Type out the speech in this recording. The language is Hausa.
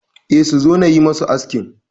E, suzo nayi musu askin